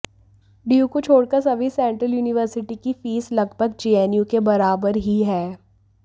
DU को छोड़कर सभी सेंट्रल यूनिवर्सिटी की फीस लगभग जेएनयू के बराबर ही है